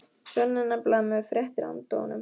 Svenni er nefnilega með fréttir handa honum.